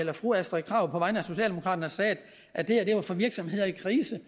at fru astrid krag på vegne af socialdemokraterne sagde at det her var for virksomheder i krise